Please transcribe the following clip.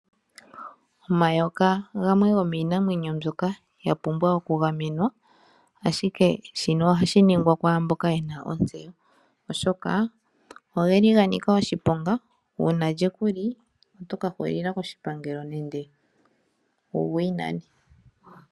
Omayoka gamwe gomiinamwenyo mbyoka yapumbwa okuga menwa ashike shino ohashi ningwa kwamboka yena ontseyo, oshoka ogeli ganika oshiponga una lye kuli otoka hulila koshipangelo nenge wu gwinane.